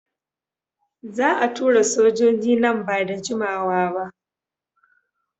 Za a tura sojoji nan ba da jimawa ba.